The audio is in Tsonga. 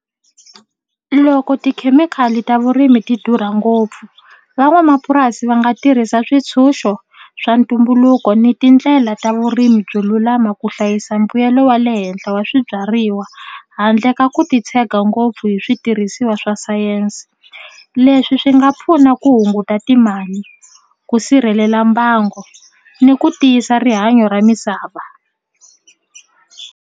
Loko tikhemikhali ta vurimi ti durha ngopfu van'wamapurasi va nga tirhisa switshunxo swa ntumbuluko ni tindlela ta vurimi byo lulama ku hlayisa mbuyelo wa le henhla wa swibyariwa handle ka ku titshega ngopfu hi switirhisiwa swa sayense leswi swi nga pfuna ku hunguta timali ku sirhelela mbango ni ku tiyisa rihanyo ra misava.